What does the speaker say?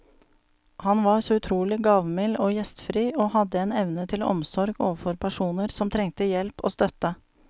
Han var så utrolig gavmild og gjestfri, og hadde en evne til omsorg overfor personer som trengte hjelp og støtte.